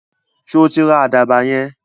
Sọ tí ra àdàbà yẹn?